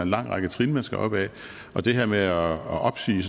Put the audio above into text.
lang række trin man skal op ad og det her med at opsige